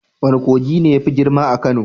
Wane kogi ne yafi girma a Kano?